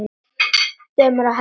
Dömur og herrar!